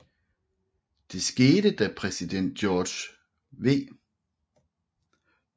Det skete da præsident George W